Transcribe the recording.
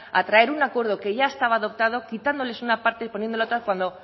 a traer un acuerdo que ya estaba adoptado quitándoles una parte y poniéndola otra cuando